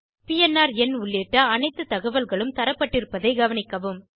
PNR எண் உள்ளிட்ட அனைத்துத் தகவல்களும் தரப்பட்டிருப்பதைக் கவனிக்கவும்